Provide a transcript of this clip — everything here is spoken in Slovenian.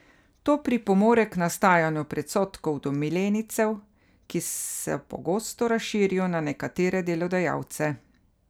To pripomore k nastajanju predsodkov do milenijcev, ki se pogosto razširijo na nekatere delodajalce.